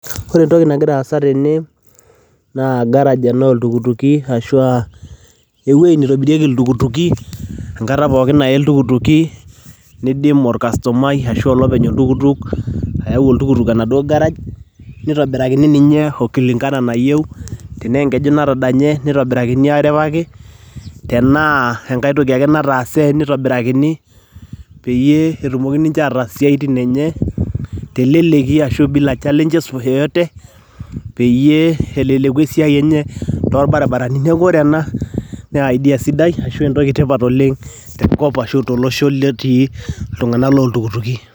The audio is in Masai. Ore entoki nagira aasa tene naa garage ena ooltukutuki ashua ewueji neitobirieki iltukutuki enkata pooki naye iltukutuki, neidim olkastomai ashua olopeny oltukutuk ayau oltukutuk enaduo garage neitobirakini ninye o kulingana nayieu. Tenaa enkeju natadanye neitobirakini aaripaki, tenaa enkae toki ake nataase neitobirakini peyie etumoki ninche ataas siaitin enye teleleki ashua bila challenges yoyote, peyie eleleku esiai enye, tolbarabarani. Neeku ore ena naa idea sidai ashua entoki tipat oleng' tenkop ashu tolosho lotii iltung'anak looltukutuki.